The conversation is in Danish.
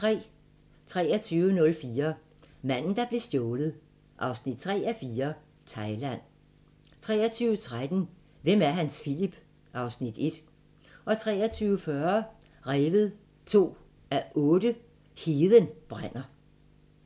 23:04: Manden, der blev stjålet 3:4 – Thailand 23:13: Hvem er Hans Philip? (Afs. 1) 23:40: Revet 2:8 – Heden brænder